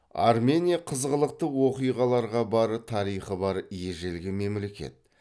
армения қызғылықты оқиғаларға бай тарихы бар ежелгі мемлекет